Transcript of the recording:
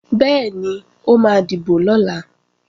Bẹ́ẹ̀ni, ó máa dìbò lọ̀la